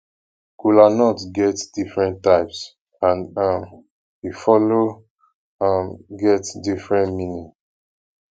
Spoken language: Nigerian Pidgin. kolanut get different types and um e follow um get different meaning